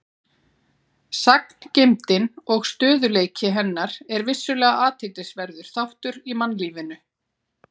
Sagngeymdin og stöðugleiki hennar er vissulega athyglisverður þáttur í mannlífinu.